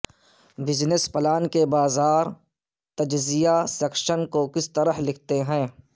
business plan کے بازار تجزیہ سیکشن کو کس طرح لکھتے ہیں